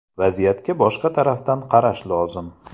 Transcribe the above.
Vaziyatga boshqa tarafdan qarash lozim.